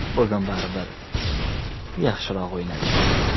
Bugun baribir yaxshiroq o‘ynadik.